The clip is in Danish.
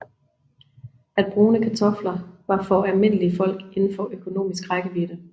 At brune kartofler var for almindelig folk indenfor økonomisk rækkevide